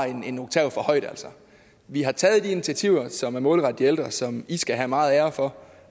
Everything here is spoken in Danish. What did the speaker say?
en oktav for højt vi har taget de initiativer som er målrettet de ældre som i skal have meget ære for